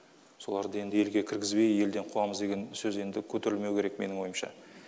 соларды енді елге кіргізбей елден қуамыз деген сөз енді көтерілмеуі керек менің ойымша